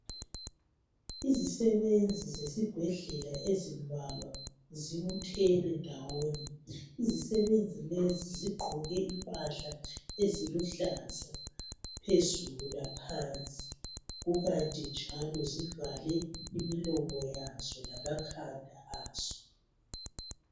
Izisebenzi zesibhedlela ezimbalwa zibuthene ndawonye . Izisebenzi lezi zigqoke impahla eziluhlaza phezulu laphansi. Kukanti njalo zivale imilomo lamakhala azo.